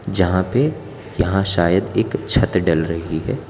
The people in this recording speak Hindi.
जहां पे यहां शायद एक छत डल रही है।